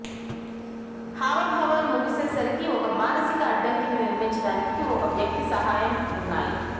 హావభావాలు ముగిసేసరికి ఒక మానసిక అడ్డంకిని నిర్మించడానికి ఒక వ్యక్తి సహాయం ఆ ఉన్నాయి